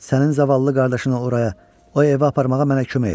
Sənin zavallı qardaşını oraya, o evə aparmağa mənə kömək et.